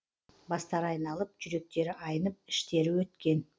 бастары айналып жүректері айнып іштері өткен